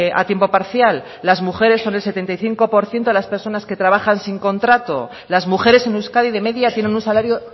a tiempo parcial las mujeres son el setenta y cinco por ciento de las personas que trabajan sin contrato las mujeres en euskadi de media tienen un salario